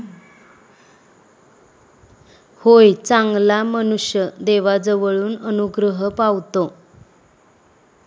होय, चांगला मनुष्य देवाजवळून अनुग्रह पावतो.